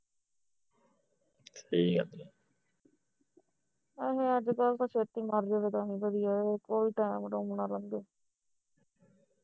ਅਹੇ ਅੱਜ ਕੱਲ ਤੇ ਛੇਤੀ ਮਰ ਜਾਵੇ ਤਾਂ ਵੀ ਵਧੀਆ ਹੈ ਤਾਂ ਕੋਈ time ਟੂਇਮ ਨਾ ਲੰਘੇ